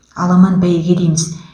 аламан бәйге дейміз